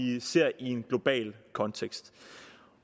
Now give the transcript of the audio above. ser i en global kontekst